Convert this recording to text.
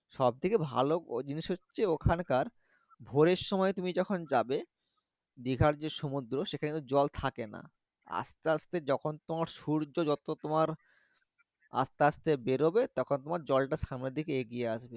সব থেকে ভালো জিনিস হচ্ছে ওখানকার ভোরের সময় তুমি যখন যাবে দীঘার যে সমুদ্র সেখানে ত জল থাকে না আস্তে আস্তে যখন তোমার সুর্য যত তোমার আস্তে আস্তে বেরবে তখন জলটা সামনের দিকে এগিয়ে আসবে